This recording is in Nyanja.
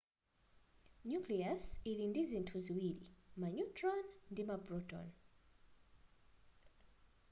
nucleus ili ndizinthu ziwiri ma neutron ndi ma proton